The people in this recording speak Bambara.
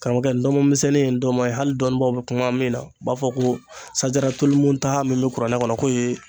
Karamɔgɔkɛ ndɔnmɔn misɛnnin ye ndɔnmɔn ye hali dɔnnibaw be kuma min na u b'a fɔ ko sajatulmuntaha min be kuranɛ kɔnɔ ko ye